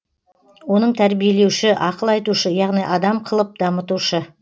оның тәрбиелеуші ақыл айтушы яғни адам қылып дамытушы